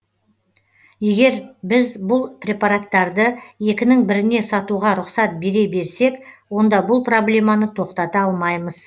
егер біз бұл препараттарды екінің біріне сатуға рұқсат бере берсек онда бұл проблеманы тоқтата алмаймыз